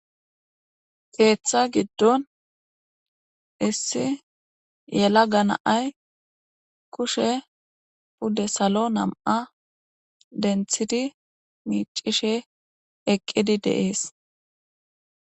keeththa giddon issi yela ganaay kushe pudde salo nam7a denthidi miicishe eqqidi deees